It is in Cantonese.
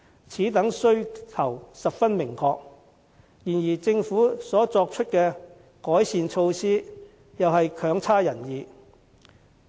此等訴求十分明確，然而政府作出的改善措施卻又未如人意。